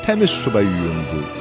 Təmiz suya yuyundu.